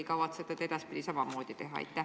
Ja kavatsete te edaspidi samamoodi teha?